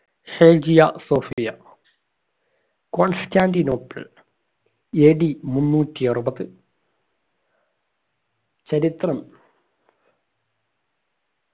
Hagia Sophia Constantinople AD മുന്നൂറ്റി അറുപത് ചരിത്രം